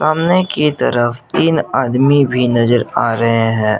सामने की तरफ तीन आदमी भी नजर आ रहे है।